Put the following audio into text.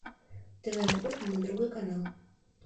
тв на кухне на другой канал